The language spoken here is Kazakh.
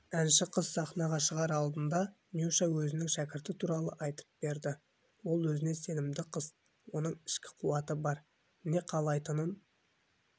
әнші қыз сахнаға шығар алдында нюша өзінің шәкірті туралы айтып берді ол өзіне сенімді қыз оның ішкі қуаты бар не қалайтынын